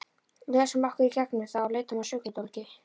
Lesum okkur í gegnum það og leitum að sökudólgi.